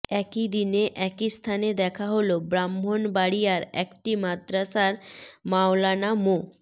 একই দিন একই স্থানে দেখা হলো ব্রাহ্মণবাড়িয়ার একটি মাদ্রাসার মাওলানা মো